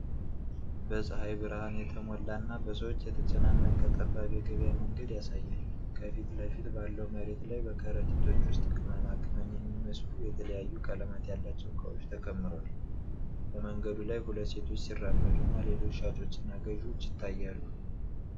በፀሐይ ብርሃን የተሞላ እና በሰዎች የተጨናነቀ ጠባብ የገበያ መንገድ ያሳያል። ከፊት ለፊት ባለው መሬት ላይ በከረጢቶች ውስጥ ቅመማ ቅመም የሚመስሉ የተለያዩ ቀለማት ያላቸው እቃዎች ተከምረዋል። በመንገዱ ላይ ሁለት ሴቶች ሲራመዱና ሌሎች ሻጮችና ገዥዎች ይታያሉ።